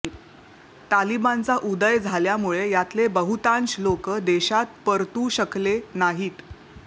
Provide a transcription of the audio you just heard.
तालिबानचा उदय झाल्यामुळे यातले बहुतांश लोक देशात परतू शकले नाहीत